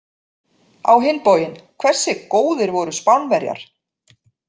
Á hinn bóginn, hversu góðir voru Spánverjar!